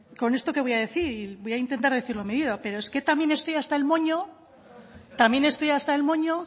con esto que voy a decir y voy a intentar decirlo medido pero es que también estoy hasta el moño